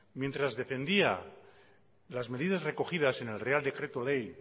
mientras dependía de las medidas recogidas en el real decreto ley